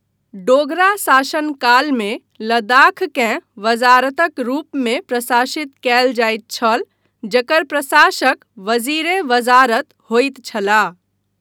डोगरा शासन कालमे लद्दाखकेँ वज़ारतक रूपमे प्रशासित कयल जाइत छल जकर प्रशासक वज़ीर ए वज़ारत होइत छलाह।